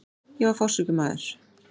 Ég var fársjúkur maður.